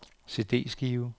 CD-skive